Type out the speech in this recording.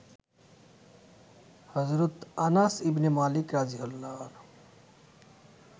হজরত Anas ibn Malik রা.